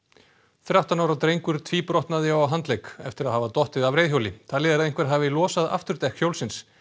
þrettán ára drengur eftir að hafa dottið af reiðhjóli talið er að einhver hafi losað afturdekk hjólsins